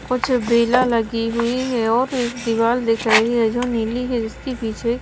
कुछ बेला लगी हुई है और एक दीवार दिख रही है जो नीली है जिसके पीछे--